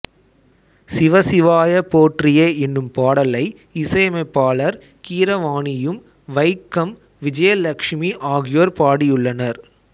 சிவ சிவாய போறியே எனும் பாடலை இசையமைப்பாளர் கீரவாணியும் வைக்கம் விஜயலட்சுமி அகியோர் பாடியுள்ளனர்